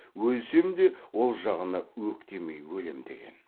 өлсем де ол жағына өктемей өлем деген